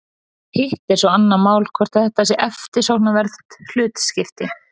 Hitt er svo annað mál hvort þetta sé eftirsóknarvert hlutskipti.